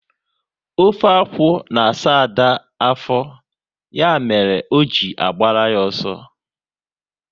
Ofe akwụ na asa Ada afọ, ya mere o ji agbara ya ọsọ